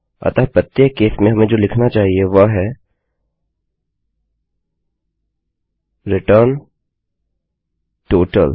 अतः प्रत्येक केस में हमें जो लिखना चाहिए वह है रिटर्न टोटल